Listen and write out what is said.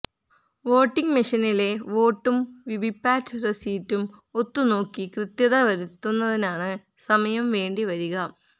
voting മെഷീനിലെ വോട്ടും VVPAT രസീറ്റും ഒത്തുനോക്കി കൃത്യത വരുത്തുന്നതിനാണ് സമയം വേണ്ടിവരിക